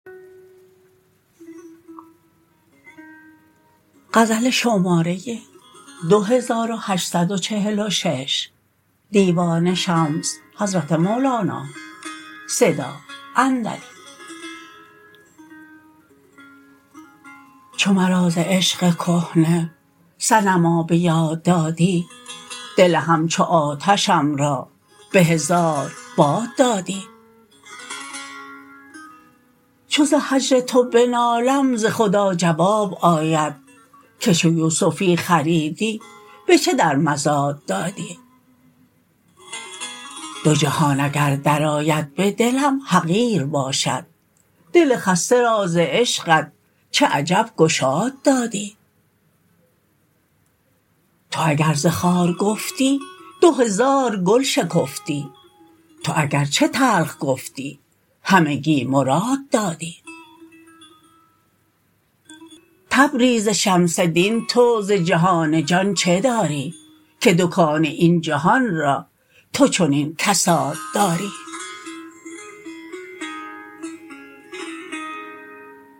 چو مرا ز عشق کهنه صنما به یاد دادی دل همچو آتشم را به هزار باد دادی چو ز هجر تو به نالم ز خدا جواب آید که چو یوسفی خریدی به چه در مزاد دادی دو جهان اگر درآید به دلم حقیر باشد دل خسته را ز عشقت چه عجب گشاد دادی تو اگر ز خار گفتی دو هزار گل شکفتی تو اگر چه تلخ گفتی همگی مراد دادی تبریز شمس دین تو ز جهان جان چه داری که دکان این جهان را تو چنین کساد دادی